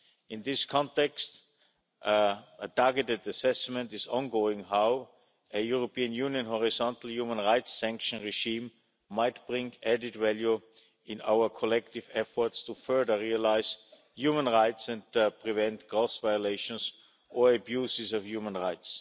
In this context, a targeted assessment is ongoing as to how a European Union horizontal human rights sanction regime might bring added value in our collective efforts to further realise human rights and prevent gross violations or abuses of human rights.